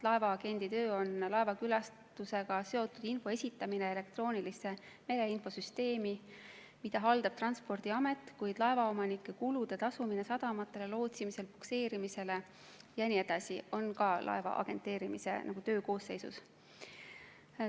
Laevaagendi töö on laevakülastusega seotud info esitamine elektroonilisse mereinfosüsteemi, mida haldab Transpordiamet, kuid laevaomanike tasud sadamatele, lootsimise ja pukseerimise eest ja nii edasi on ka laeva agenteerimise töökoosseisus.